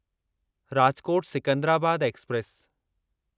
Rajkot Secunderabad express